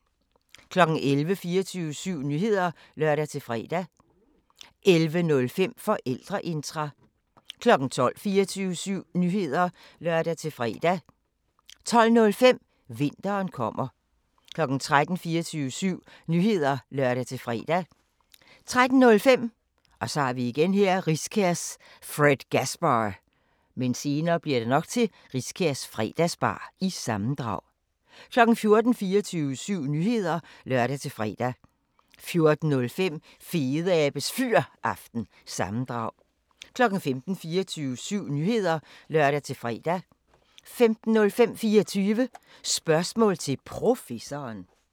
11:00: 24syv Nyheder (lør-fre) 11:05: Forældreintra 12:00: 24syv Nyheder (lør-fre) 12:05: Vinteren kommer 13:00: 24syv Nyheder (lør-fre) 13:05: Riskærs Fredgasbar- sammendrag 14:00: 24syv Nyheder (lør-fre) 14:05: Fedeabes Fyraften – sammendrag 15:00: 24syv Nyheder (lør-fre) 15:05: 24 Spørgsmål til Professoren